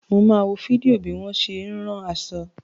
Mo máa wo fídíò bí wọ́n ṣe ń rán aṣọ.